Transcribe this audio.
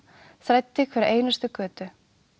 þræddi hverja einustu götu